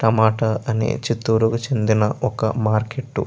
తమోతో అనేది చిట్టిఒర్ కి చెందిన ఒక మార్కెట్ .